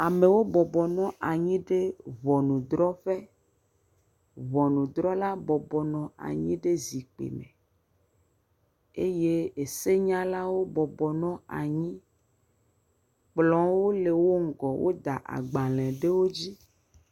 Amewo bɔbɔnɔ anyi ɖe ŋɔnudrɔƒe. Ŋɔnudrɔla bɔbɔnɔ anyi ɖe zikpui me me eye esenyalawo bɔbɔnɔ anyi. Kplɔwo le wo ŋgɔ wod aagbale ɖe wo dzi.